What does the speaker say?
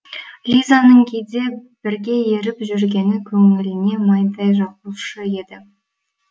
лизаның кейде бірге еріп жүргені көңіліне майдай жағушы еді